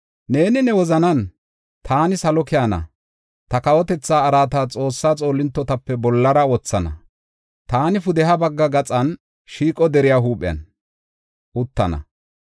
Neeni ne wozanan, “Taani salo keyana; ta kawotethaa araata Xoossaa xoolintotape bollara wothana; taani pudeha bagga gaxan shiiqo deriya huuphen uttana .